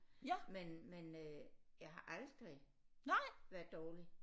Men men øh jeg har aldrig været dårlig